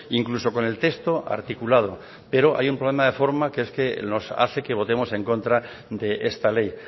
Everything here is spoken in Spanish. incluso con el texto articulado pero hay un problema de forma que es que nos hace que votemos en contra de esta ley